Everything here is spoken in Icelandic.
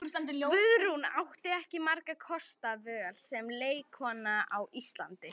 Guðrún átti ekki margra kosta völ sem leikkona á Íslandi.